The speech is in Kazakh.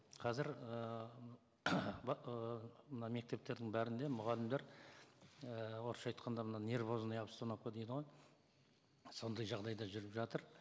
қазір ііі мына мектептердің бәрінде мұғалімдер ііі орысша айтқанда мына нервозная обстановка дейді ғой сондай жағдайда жүріп жатыр